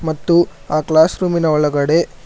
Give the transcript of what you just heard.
ಮತ್ತು ಆ ಕ್ಲಾಸ್ ರೂಮಿನ ಒಳಗಡೆ--